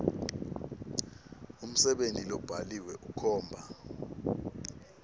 umsebenti lobhaliwe ukhomba